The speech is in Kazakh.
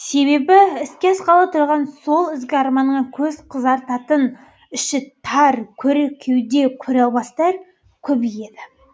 себебі іске асқалы тұрған сол ізгі арманыңа көз қызартатын іші тар көр кеуде көре алмастар көбейеді